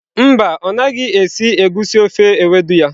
Mba, ọ naghị esi egusi ofe ewedu ya.